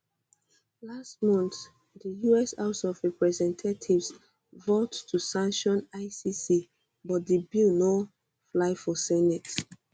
last month di us house of representatives vote to sanction icc but di bill no fly for senate